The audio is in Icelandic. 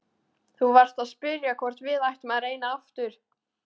Þú varst að spyrja hvort við ættum að reyna aftur.